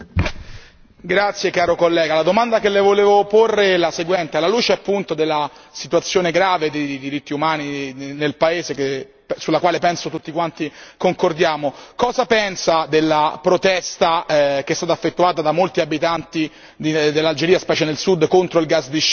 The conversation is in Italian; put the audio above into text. Onorevole collega, la domanda che le volevo porre è la seguente alla luce appunto della situazione grave dei diritti umani nel paese, sulla quale penso tutti quanti concordiamo, cosa pensa della protesta che è stata effettuata da molti abitanti dell'Algeria, specie nel sud contro il gas di scisto?